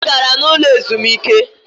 Ha gara n’ ụlọ azụmike